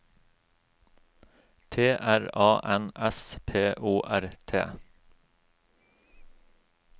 T R A N S P O R T